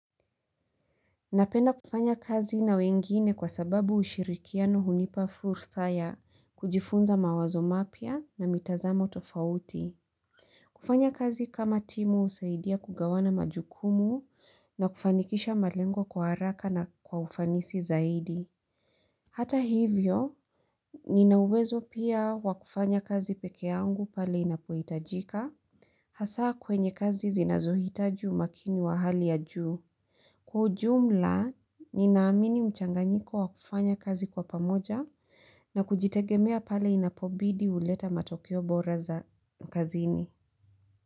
Napenda kufanya kazi na wengine kwa sababu ushirikiano hunipa fursa ya kujifunza mawazo mapya na mitazamo tofauti. Kufanya kazi kama timu husaidia kugawana majukumu na kufanikisha malengo kwa haraka na kwa ufanisi zaidi. Hata hivyo, ninauwezo pia wakufanya kazi pekeangu pale inapuitajika. Hasaa kwenye kazi zinazohitaji makini wa hali ya juu. Kwa ujumla, ninaamini mchanganyiko wa kufanya kazi kwa pamoja na kujitegemea pale inapobidi uleta matokio bora za kazini.